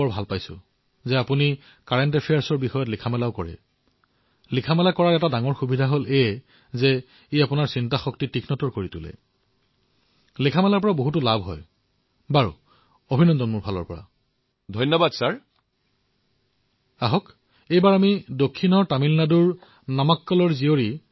আৰু বিপদো থাকে কাৰণ আজিকালি যি ধৰণৰ ৰোগৰ সৃষ্টি হৈছে চিকিৎসকেও বিপদৰ সন্মুখীন হবলগীয়া হৈছে